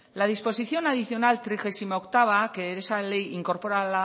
la disposición adicional trigesimooctava que esa ley incorpora a